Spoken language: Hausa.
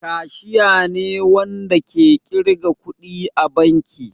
Kashiya ne Wanda ke kirga kuɗi a banki.